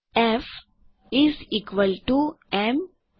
F A MA સમાન છે